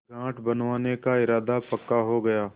घाट बनवाने का इरादा पक्का हो गया